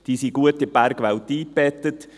Diese sind gut in die Bergwelt eingebettet.